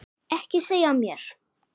Ekki segja mér